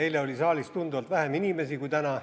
Eile oli saalis tunduvalt vähem inimesi kui täna.